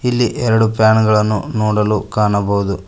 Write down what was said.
ಇಲ್ಲಿ ಎರಡೂ ಫ್ಯಾನ್ ಗಳನ್ನು ನೋಡಲು ಕಾಣಬಹುದು.